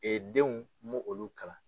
denw m'olu kalan.